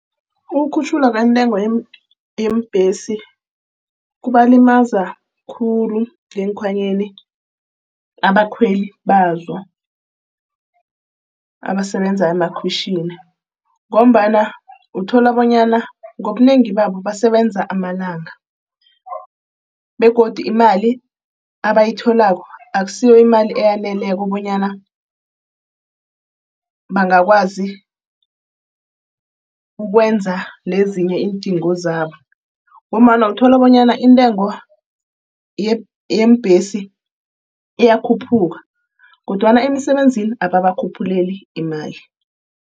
Ukukhutjhulwa kwentengo yeembhesi kubalimaza khulu ngeekhwanyeni abakhweli bazo, abasebenza emakhwitjhini ngombana uthola bonyana ngobunengi babo basebenza amalanga. Begodu imali abayitholako akusiyo imali eyaneleko bonyana bangakwazi ukwenza nezinye iindingo zabo, ngombana uthola bonyana intengo yeembhesi iyakhuphuka kodwana emisebenzini ababakhuphuleli imali.